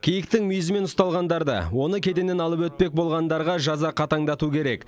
киіктің мүйізімен ұсталғандар да оны кеденнен алып өтпек болғандарға жаза қатаңдату керек